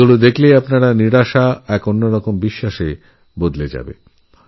ওঁদের দেখে আপনারভেতরের হতাশা অবিশ্বাস সব দূর হয়ে যাবে